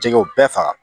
Jɛgɛw bɛɛ faga